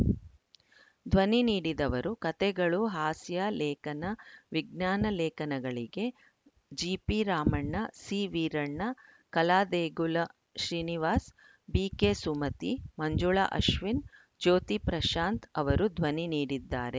ಧ್ವನಿ ನೀಡಿದವರು ಕಥೆಗಳು ಹಾಸ್ಯ ಲೇಖನ ವಿಜ್ಞಾನ ಲೇಖನಗಳಿಗೆ ಜಿಪಿರಾಮಣ್ಣ ಸಿವೀರಣ್ಣ ಕಲಾದೇಗುಲ ಶ್ರೀನಿವಾಸ್‌ ಬಿಕೆಸುಮತಿ ಮಂಜುಳಾ ಅಶ್ವಿನ್‌ ಜ್ಯೋತಿ ಪ್ರಶಾಂತ್‌ ಅವರು ಧ್ವನಿ ನೀಡಿದ್ದಾರೆ